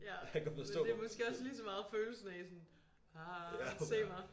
Ja men det måske også lige så meget følelsen af sådan ah se mig